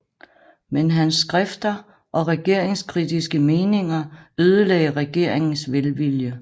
Men hans skrifter og regeringskritiske meninger ødelagde regeringens velvilje